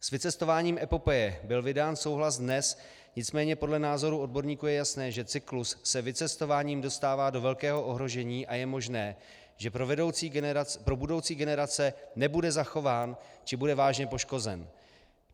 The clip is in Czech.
S vycestováním epopeje byl vydán souhlas dnes, nicméně podle názoru odborníků je jasné, že cyklus se vycestováním dostává do velkého ohrožení a je možné, že pro budoucí generace nebude zachován či bude vážně poškozen.